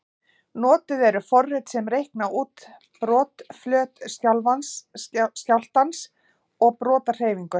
Notuð eru forrit sem reikna út brotflöt skjálftans og brotahreyfingu.